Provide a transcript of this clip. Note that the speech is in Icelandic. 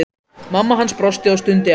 Mamma hans brosti og stundi ánægð.